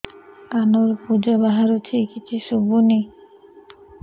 କାନରୁ ପୂଜ ବାହାରୁଛି କିଛି ଶୁଭୁନି